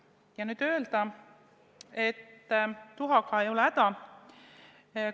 Ja nüüd öelda, et tuhaga ei ole häda ...